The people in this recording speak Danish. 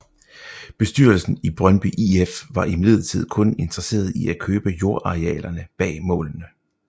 Bestyrelsen i Brøndby IF var imidlertid kun interesseret i at købe jordarealerne bag målene